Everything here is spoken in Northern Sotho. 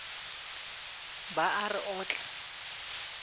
ba a re o tla